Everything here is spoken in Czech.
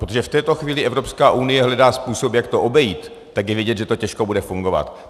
Protože v této chvíli Evropská unie hledá způsob, jak to obejít, tak je vidět, že to těžko bude fungovat.